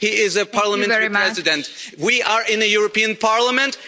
king. He is a parliamentary president. We are in the European Parliament.